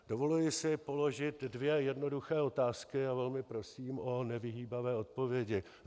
Dovoluji si položit dvě jednoduché otázky a velmi prosím o nevyhýbavé odpovědi.